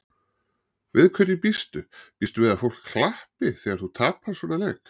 Við hverju býstu, býstu við að fólk klappi þegar þú tapar svona leik?